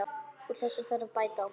Úr þessu þarf að bæta!